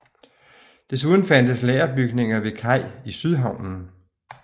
Desuden fandtes lagerbygninger ved kaj i Sydhavnen